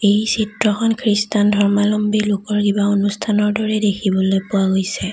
এই চিত্ৰখন খ্ৰীষ্টান ধৰ্মাৱলম্বী লোকৰ কিবা অনুষ্ঠানৰ দৰে দেখিবলৈ পোৱা গৈছে।